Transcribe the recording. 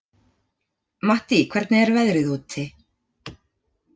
Mattý, hvernig er veðrið úti?